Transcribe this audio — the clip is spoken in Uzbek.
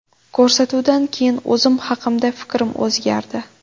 Ko‘rsatuvdan keyin o‘zim haqimda fikrim o‘zgardi.